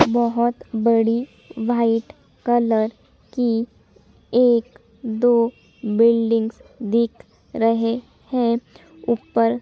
बहोत बड़ी white colour की एक दो बिल्डिंग्स दिख रहे है ऊपर--